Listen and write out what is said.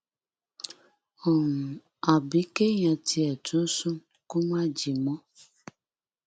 um àbí kéèyàn tiẹ tún sùn kó má jí mọ